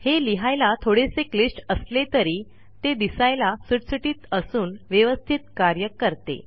हे लिहायला थोडेसे क्लिष्ट असले तरी ते दिसायला सुटसुटीत असून व्यवस्थित कार्य करते